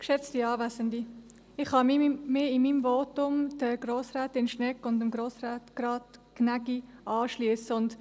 Ich kann mich mit meinem Votum Grossrätin Schnegg und Grossrat Gnägi anschliessen.